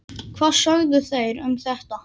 Hvað sögðu þeir um þetta?